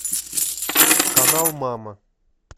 канал мама